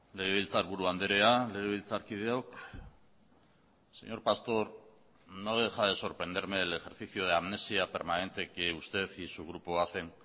legebiltzarburu andrea legebiltzarkideok señor pastor no deja de sorprenderme el ejercicio de amnesia permanente que usted y su grupo hacen